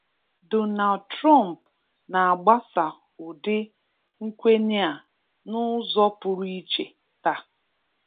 Donald Trump n'agbasa ụdị nkwenye a n'ụzọ pụrụ iche taa.